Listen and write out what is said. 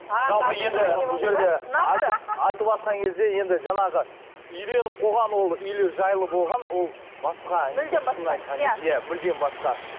енді жаңағы үйленіп қойған ол үйлі жайлы болған ол басқа мүлдем басқа шынын айтқан кезде иә мүлдем басқа